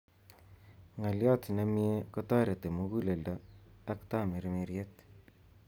Ngaliot nemie kotoreti muguleldo ak tamirmiriet